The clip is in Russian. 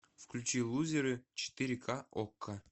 включи лузеры четыре ка окко